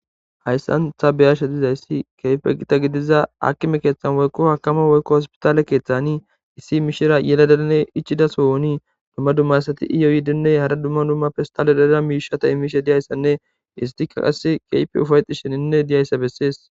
hayssan ta beyasha dizayssi keyfe gita gidiza akime keeththan woykko hakama woykko hospitaale keeththani issi mishira yeladedane ichida sooni dumma dummasati iyoyidinne hara dumma dumma fistale deda miishata imiishe diyayssanne istika qas keype ufayexi sheninne diyayssa bessees